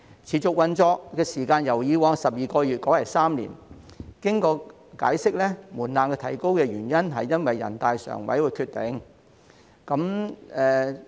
持續運作時間由以往12個月改為3年，經解釋後，門檻提高的原因是因應全國人民代表大會常務委員會的决定。